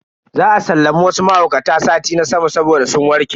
Za a sallami wasu mahaukata sati na sama saboda sun warke.